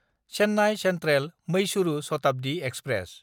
Chennai सेन्ट्रेल–मैसूरु Shatabdi express